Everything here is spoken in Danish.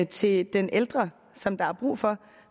til den ældre som der er brug for